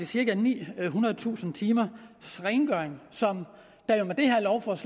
cirka nihundredetusind timers rengøring som